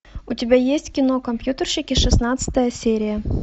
у тебя есть кино компьютерщики шестнадцатая серия